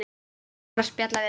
Gaman að spjalla við þig.